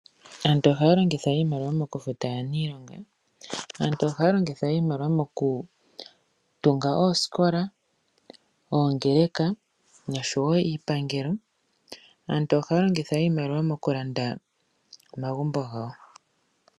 Aantu ohaya longitha iimaliwa mokufuta aaniilonga. Aantu ohaya longitha wo iimaliwa mokutunga oosikola, oongeleka noshowo iipangelo. Aantu ohaya longitha wo iimaliwa mokulanda omagumbo gawo.